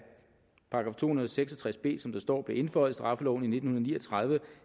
§ to hundrede og seks og tres b blev indføjet i straffeloven i nitten ni og tredive